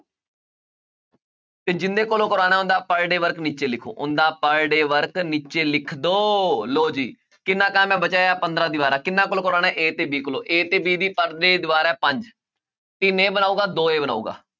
ਤੇ ਜਿੰਨੇ ਕੋਲੋਂ ਕਰਵਾਉਣਾ ਹੁੰਦਾ per day work ਨੀਚੇ ਲਿਖੋ ਉਹਨਾਂ ਦਾ per day work ਨੀਚੇ ਲਿਖ ਦਓ ਲਓ ਜੀ ਕਿੰਨਾ ਬਚਿਆ ਹੈ ਪੰਦਰਾਂਂ ਦੀਵਾਰਾਂ ਕਿੰਨਾਂ ਕੋਲੋਂ ਕਰਵਾਉਣਾ ਹੈ a ਤੇ b ਕੋਲੋਂ a ਤੇ b ਦੀ per day ਦੀਵਾਰ ਹੈ ਪੰਜ, ਤਿੰਨ ਇਹ ਬਣਾਊਗਾ ਦੋ ਇਹ ਬਣਾਊਗਾ